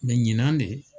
ɲinan de